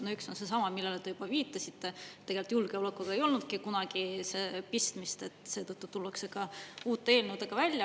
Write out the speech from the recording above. No üks on seesama, millele te juba viitasite, tegelikult julgeolekuga ei olnudki kunagi pistmist, seetõttu tullakse ka uute eelnõudega välja.